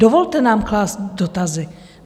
Dovolte nám klást dotazy.